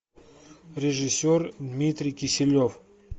режиссер дмитрий киселев